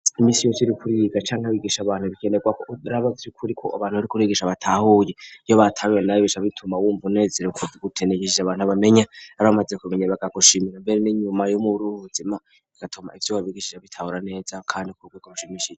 Imisiyo ciri kuriga canke abigisha abantu bikenerwa urabazi kuri ko abantu bari kurigisha batahuye iyo batabiwe nabibisha bituma wumva uneziruko utenegishija abantu bamenya ar bamaze kumenya bagagushimira mbere n'inyuma yumwe uri uruuzima bigatuma ivyo babigishisha bitahura neza, kandi kubwego rushimishije.